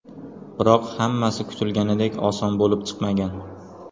Biroq hammasi kutilganidek oson bo‘lib chiqmagan.